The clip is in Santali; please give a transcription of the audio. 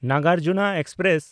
ᱱᱟᱜᱟᱨᱡᱩᱱᱟ ᱮᱠᱥᱯᱨᱮᱥ